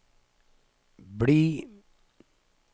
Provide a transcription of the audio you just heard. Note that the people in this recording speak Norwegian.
bli